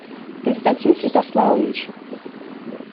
константин святославович